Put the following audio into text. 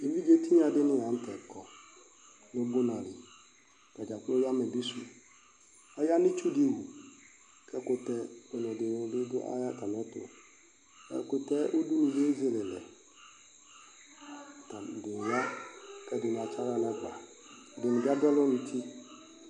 Evidze tinyadini la nu tɛ kɔ nu ubunadi atadza kplo aya amɛbisu aya nu itsu di tu ku ɛkutɛ dibi yanu atamiɛtu ɛkutɛ udunuliɛ ezelelɛ atani ya atsi aɣla nɛgba ɛdini di adu alo nu uti